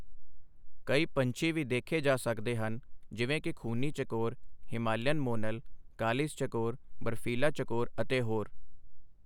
ਕਈ ਪੰਛੀ ਵੀ ਦੇਖੇ ਜਾ ਸਕਦੇ ਹਨ, ਜਿਵੇਂ ਕਿ ਖੂਨੀ ਚਕੋਰ, ਹਿਮਾਲੀਅਨ ਮੋਨਲ, ਕਾਲੀਜ ਚਕੋਰ, ਬਰਫ਼ੀਲਾ ਚਕੋਰ ਅਤੇ ਹੋਰ।